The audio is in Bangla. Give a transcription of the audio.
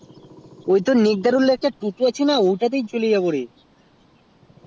ওই তো নেকদারুল এর টোটো আছে টোটো তাই যাবো